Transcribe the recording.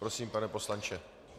Prosím, pane poslanče.